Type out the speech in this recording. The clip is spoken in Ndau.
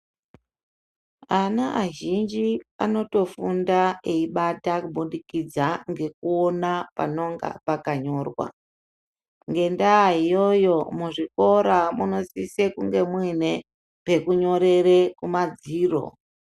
Ana azhinji anotofunda eibata kubudikidza ngekuona panonga pakanyorwa ngendaa iyoyo muzvikora munosise kunge muine pekunyorere kumadziro.